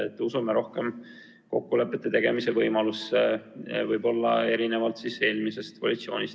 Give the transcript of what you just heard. Me usume rohkem kokkulepete tegemise võimalusse, võib-olla erinevalt eelmisest koalitsioonist.